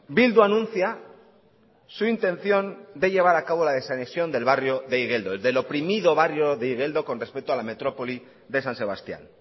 bildu anuncia su intención de llevar a cabo la desanexión del barrio de igeldo del oprimido barrio de igeldo con respecto a la metrópoli de san sebastián